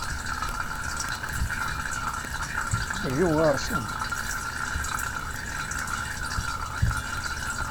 бри ларсон